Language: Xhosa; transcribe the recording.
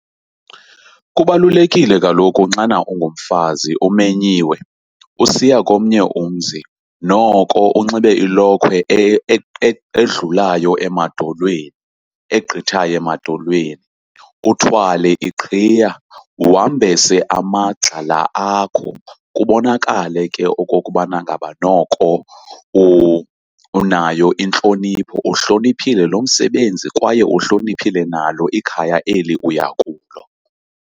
Kubalulekile kaloku xana ungumfazi umenyiwe usiya komnye umzi noko unxibe ilokhwe edlulayo emadolweni, egqithayo emadolweni. Uthwale iqhiya, wambese amagxa la akho kubonakale ke okokubana ngaba noko unayo intlonipho. Uwuhloniphile lo msebenzi kwaye uhloniphile nalo ikhaya eli uya kulo.